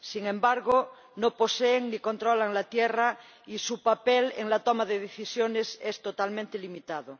Sin embargo, no poseen ni controlan la tierra y su papel en la toma de decisiones es totalmente limitado.